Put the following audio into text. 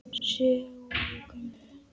Sólu gömlu.